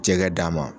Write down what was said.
Jɛgɛ d'a ma